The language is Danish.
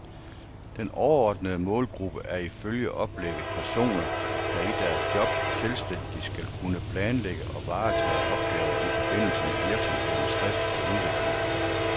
Den overordnede målgruppe er ifølge oplægget personer, der i deres job selvstændigt skal kunne planlægge og varetage opgaver i forbindelse med virksomhedens drift og udvikling.